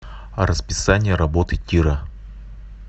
расписание работы тира